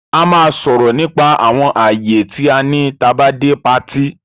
A máa sòrò nípa àwon ààyè ti a ní tá bá dé party